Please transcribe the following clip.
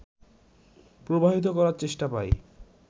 প্রবাহিত করার চেষ্টা পাই